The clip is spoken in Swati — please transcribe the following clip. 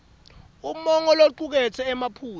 umongo locuketse emaphuzu